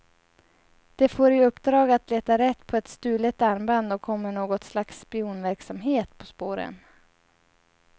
De får i uppdrag att leta rätt på ett stulet armband och kommer något slags spionverksamhet på spåren.